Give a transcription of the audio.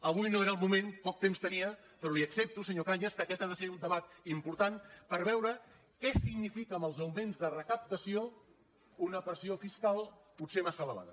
avui no era el moment poc temps tenia però li accepto senyor cañas que aquest ha de ser un debat important per veure què significa amb els augments de recaptació una pressió fiscal potser massa elevada